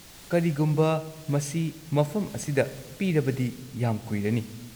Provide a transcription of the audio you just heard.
-ꯀꯔꯤꯒꯨꯝꯕ ꯃꯁꯤ ꯃꯐꯝ ꯑꯁꯤꯗ ꯄꯤꯔꯕꯗꯤ ꯌꯥꯝ ꯀꯨꯏꯔꯅꯤ꯫